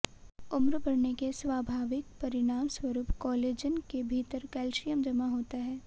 उम्र बढ़ने के स्वाभाविक परिणामस्वरूप कोलेजन के भीतर कैल्शियम जमा होता है